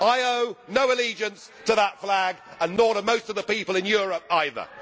I owe no allegiance to that flag and nor do most of the people in Europe either.